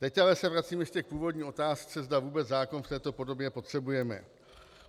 Teď ale se vracím ještě k původní otázce, zda vůbec zákon v této podobě potřebujeme.